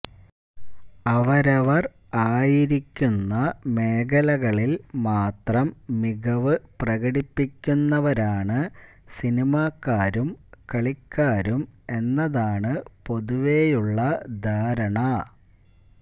അവരവര് ആയിരിക്കുന്ന മേഖലകളില് മാത്രം മികവ് പ്രകടിപ്പിക്കുന്നവരാണ് സിനിമാക്കാരും കളിക്കാരും എന്നതാണ് പൊതുവേയുള്ള ധാരണ